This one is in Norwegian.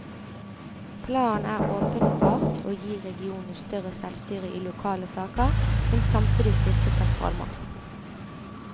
Planen er åpenbart å gi regionene større selvstyre i lokale saker, men samtidig styrke sentralmakten.